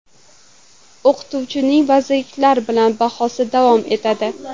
O‘qituvchining vazirliklar bilan bahsi davom etadi.